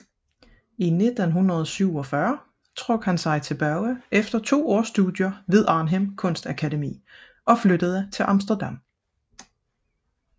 I 1947 trak han sig tilbage efter to års studier ved Arnhem Kunstakademi og flyttede til Amsterdam